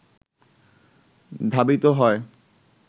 ধাবিত হয়